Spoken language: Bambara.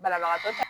Banabagatɔ